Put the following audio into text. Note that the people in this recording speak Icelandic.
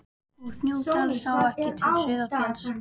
Úr Snóksdal sá ekki til Sauðafells.